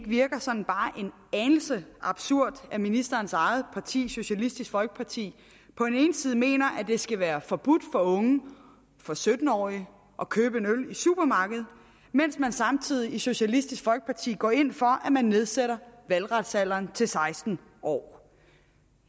virker sådan bare en anelse absurd at ministerens eget parti socialistisk folkeparti på den ene side mener at det skal være forbudt for unge for sytten årige at købe en øl i supermarkedet mens man samtidig i socialistisk folkeparti går ind for at nedsætte valgretsalderen til seksten år